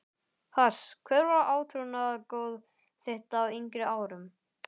Pass Hver var átrúnaðargoð þitt á yngri árum?